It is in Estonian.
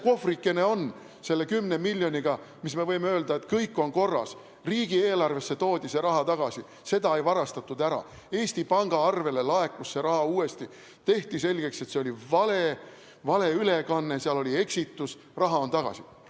Kus see kohvrikene on selle 10 miljoniga, et me võiksime öelda, et kõik on korras, riigieelarvesse toodi see raha tagasi, seda ei varastatud ära, Eesti Panga arvele laekus see raha uuesti, tehti selgeks, et see oli valeülekanne, seal oli eksitus, raha on tagasi?